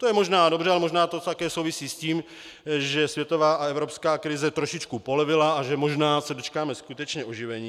To je možná dobře, ale možná to také souvisí s tím, že světová a evropská krize trošičku polevila a že možná se dočkáme skutečně oživení.